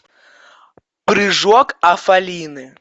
прыжок афалины